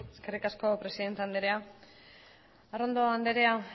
eskerrik asko presidente andrea arrondo andrea